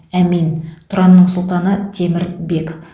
әмин тұранның сұлтаны темір бек